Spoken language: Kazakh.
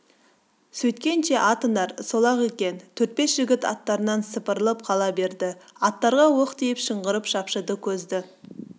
сөйткенше атыңдар сол-ақ екен төрт-бес жігіт аттарынан сыпырылып қала берді аттарға оқ тиіп шыңғырып шапшыды көзді